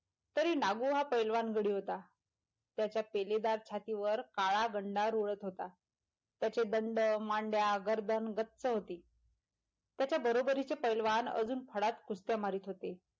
तरी नागू हा पैलवान गडी होता त्याच्या पेलेदार छातीवर काळा गंडा लोळत होता त्याचे दंड मांड्या गर्दन गच्च होती त्याच्या बरोबरी चे पैलवान आजून फडात कुस्त्या मारीत होते.